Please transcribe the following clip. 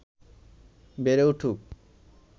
বেড়ে উঠুক